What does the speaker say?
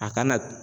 A kana